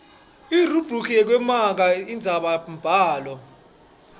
irubhriki yekumaka indzabambhalo